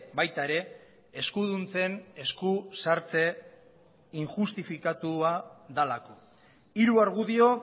baita ere eskuduntzen eskusartze injustifikatua delako hiru argudio